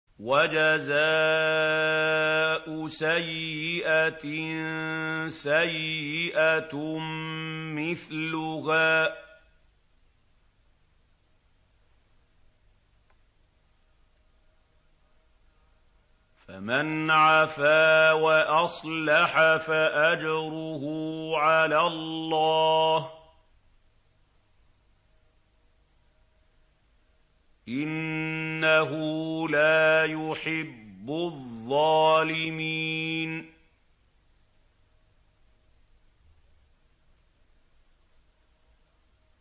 وَجَزَاءُ سَيِّئَةٍ سَيِّئَةٌ مِّثْلُهَا ۖ فَمَنْ عَفَا وَأَصْلَحَ فَأَجْرُهُ عَلَى اللَّهِ ۚ إِنَّهُ لَا يُحِبُّ الظَّالِمِينَ